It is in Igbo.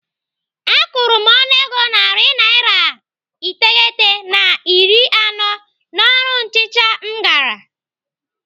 Akwụrụ m ọnụego narị naira iteghete na iri anọ n'ọrụ nchicha m gara.